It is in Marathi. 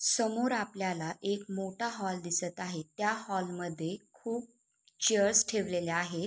समोर आपल्याला एक मोठा हॉल दिसत आहे त्या हॉल मध्ये खूप चेअरस ठेवलेल्या आहेत.